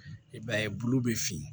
I b'a ye bulu bɛ fin